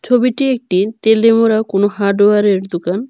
ছবিটি একটি তেলেমুড়া কোনো হার্ডওয়ারের দোকান।